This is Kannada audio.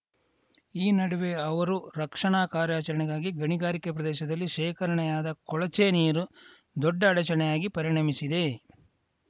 ಈ ನಡುವೆ ಅವರ ರಕ್ಷಣಾ ಕಾರ್ಯಾಚರಣೆಗಾಗಿ ಗಣಿಗಾರಿಕೆ ಪ್ರದೇಶದಲ್ಲಿ ಶೇಖರಣೆಯಾದ ಕೊಳಚೆ ನೀರು ದೊಡ್ಡ ಅಡಚಣೆಯಾಗಿ ಪರಿಣಮಿಸಿದೆ